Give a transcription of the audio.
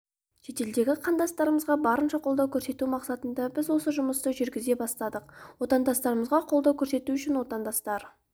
шетелдегі қандастарымызға барынша қолдау көрсету мақсатында біз осы жұмысты жүргізе бастадық отандастарымызға қолдау көрсету үшін отандастар